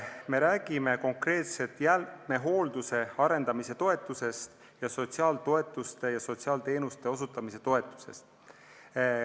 Me räägime konkreetselt jäätmehoolduse arendamise toetusest ning sotsiaaltoetuste maksmise ja sotsiaalteenuste osutamise toetusest.